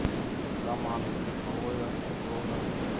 шаман новая угроза